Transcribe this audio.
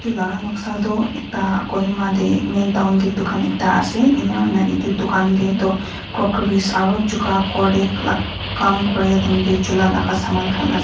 edu la noksa toh ekta kohima tae main town tae dukan ekta ase enakurina edu dukan tae toh gokeris aro chuka khor khor la Kam kuri time tae chula laka saman khan ase.